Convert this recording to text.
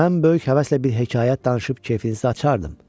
Mən böyük həvəslə bir hekayə danışıb kefinizi açardım.